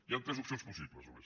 hi han tres opcions possibles només